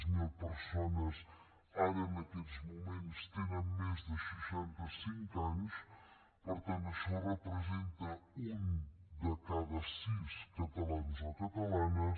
zero persones ara en aquests moments tenen més de seixanta cinc anys per tant això representa un de cada sis catalans o catalanes